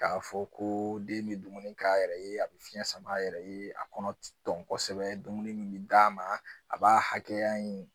K'a fɔ ko den bɛ dumuni k'a yɛrɛ ye a bɛ fiɲɛ sama a yɛrɛ ye a kɔnɔ ti dɔn kosɛbɛ dumuni min bɛ d'a ma a b'a hakɛ ya in